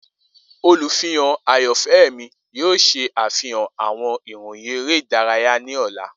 Olufihan ayanfẹ mi yoo ṣe afihan awọn iroyin ere idaraya ni ọla.